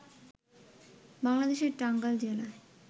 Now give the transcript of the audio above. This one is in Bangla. বাংলাদেশের টাঙ্গাইল জেলায়